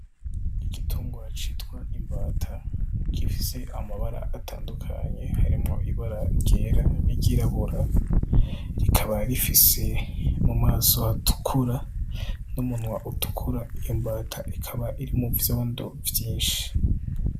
Igitungwa citwa imbata gifise amabara atandukanye harimwo ibara ryera n'iryirabura, kikaba gifise mu maso hatukura n'umunwa utukura, iyo mbata ikaba iri mu vyondo vyinshi.